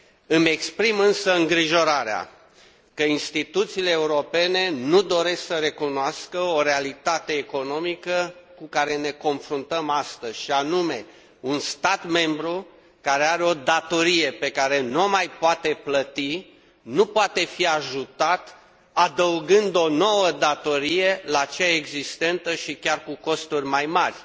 Îmi exprim însă îngrijorarea că instituțiile europene nu doresc să recunoască o realitate economică cu care ne confruntăm astăzi, și anume un stat membru care are o datorie pe care nu o mai poate plăti nu poate fi ajutat adăugând o nouă datorie la cea existentă, și chiar cu costuri mai mari.